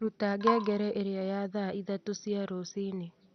ruta ngengere ĩria ya thaa ithatũ cia rũcinĩ